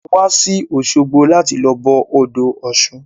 A wá sí òṣogbo láti lọ bọ odò ọ̀ṣun.